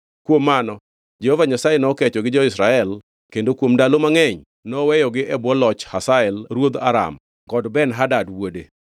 Kuom mano Jehova Nyasaye nokecho gi jo-Israel kendo kuom ndalo mangʼeny noweyogi e bwo loch Hazael ruodh Aram kod Ben-Hadad wuode.